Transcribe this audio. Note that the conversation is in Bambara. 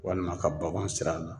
Walima ka baganw sir'a la